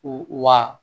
Wa